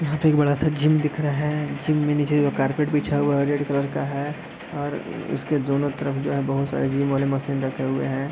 यहाँ पे एक बड़ा जिम दिख रहा है जिम में नीचे जो कारपेट बिछा हुआ है रेड कलर का है और उसके दोनों तरफ जो है बहोत सारे जिम वाले मशीन रखे हुए हैं।